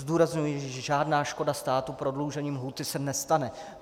Zdůrazňuji, že žádná škoda státu prodloužením lhůty se nestane.